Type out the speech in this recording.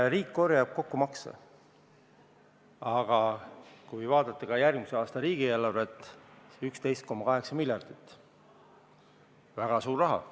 Riik korjab makse kokku, aga kui vaadata järgmise aasta riigieelarvet, mis on 11,8 miljardit, siis see on väga suur raha.